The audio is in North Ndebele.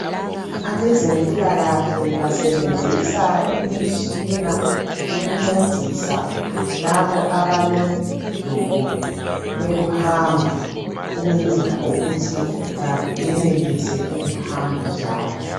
Abezempilakahle basebenzisa imitshina yokuncesisa laba abalodubo lokuhamba ukwenzela ukuthi bayenelise ukuhamba njalo.